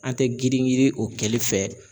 An tɛ girin girin o kɛli fɛ.